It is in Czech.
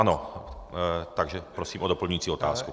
Ano, takže prosím o doplňující otázku.